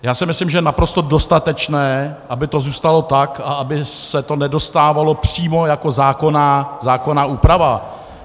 Já si myslím, že je naprosto dostatečné, aby to zůstalo tak a aby se to nedostávalo přímo jako zákonná úprava.